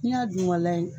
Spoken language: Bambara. N'i y'a dun ka layɛ